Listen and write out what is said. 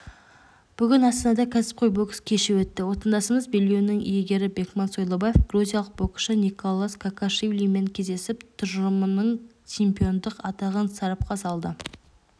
бүгін астанада кәсіпқой бокс кеші өтті отандасымыз белбеуінің иегері бекман сойлыбаев грузиялық боксшы николоз кокашвилимен кездесіп тұжырымының чемпиондық атағын сарапқа салды